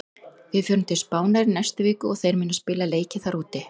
Við förum til Spánar í næstu viku og þeir munu spila leiki þar úti.